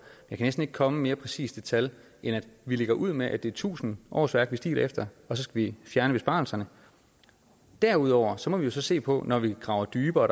jeg kan ikke komme mere præcist tal end at vi lægger ud med at det er tusind årsværk vi stiler efter og så skal vi fjerne besparelserne derudover må vi så se på når vi graver dybere